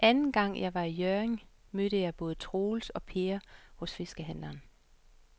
Anden gang jeg var i Hjørring, mødte jeg både Troels og Per hos fiskehandlerne.